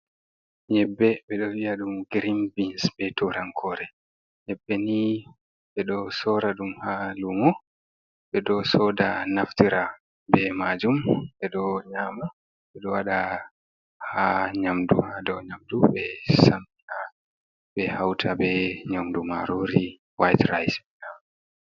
Nyebbe be do vi'a dum gren bins be toran kore, nyebbe ni bedo sora dum ha lumo be do soda naftira be majum be do nyama bedo wada ha nyamdu ha dow nyamdu be samina be hauta be nyamdu marori white rise bina.